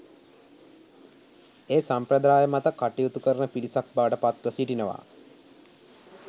ඒ සම්ප්‍රදාය මත කටයුතු කරන පිරිසක් බවට පත්ව සිටිනවා